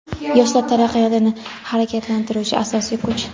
Yoshlar – taraqqiyotni harakatlantiruvchi asosiy kuch.